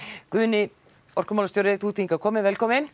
Guðni orkumálastjóri þú ert hingað kominn velkominn